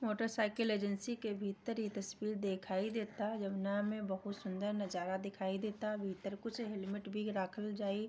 motorcycle agency के भीतर की तस्वीर दिखाई देता है जमुना में बहुत सुंदर नजारा दिखाई देता भीतर कुछ हेलमेट भी राखल जाइ|